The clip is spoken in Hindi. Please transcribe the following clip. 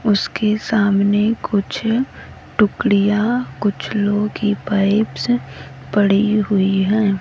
उसके सामने कुछ टुकड़ियां कुछ लो की पाइप्स पड़ी हुई है।